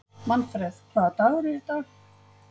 Manfreð, hvaða dagur er í dag?